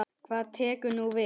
Hvað tekur nú við?